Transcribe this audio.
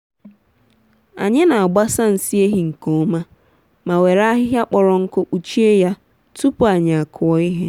anyị n’agbasa nsị ehi nke ọma ma were ahịhịa kpọrọ nkụ kpuchie ya tupu anyị akụ ihe.